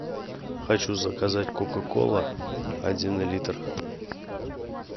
хочу заказать кока кола один литр